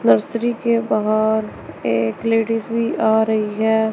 Nursery के बाहर एक लेडिस भी आ रही है।